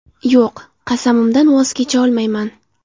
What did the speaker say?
Yo‘q, qasamimdan voz kecha olmayman.